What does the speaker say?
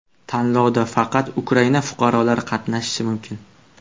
Tanlovda faqat Ukraina fuqarolari qatnashishi mumkin.